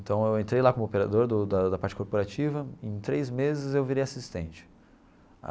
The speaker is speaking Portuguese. Então eu entrei lá como operador do da da parte corporativa, em três meses eu virei assistente.